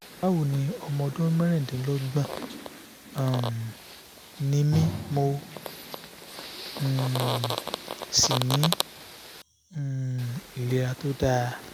bawo ni ọmọ ọdún mẹ́rìndínlọ́gbọ̀n um ni mí mo um sì ní um ìlera tó dáa